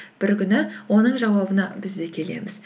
бір күні оның жауабына біз де келеміз